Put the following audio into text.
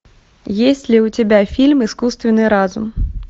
есть ли у тебя фильм искусственный разум